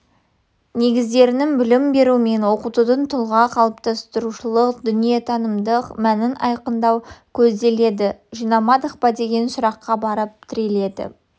негіздерінің білім беру мен оқытудың тұлға қалыптастырушылық дүниетанымдық мәнін айқындау көзделеді жинамадық па деген сұраққа барып тіреледі